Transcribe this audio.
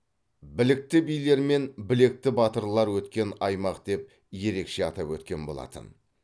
білікті билер мен білекті батырлар өткен аймақ деп ерекше атап өткен болатын